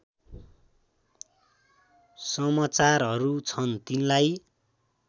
समाचारहरू छन् तिनलाई